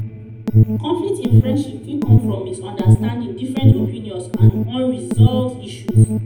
conflict in friendship fit come from misunderstanding different opinions and unresolved issues.